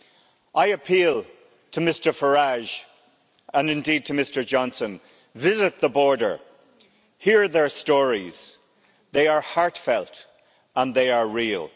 I appeal to Mr Farage, and indeed to Mr Johnson, visit the border, hear their stories, they are heartfelt and they are real.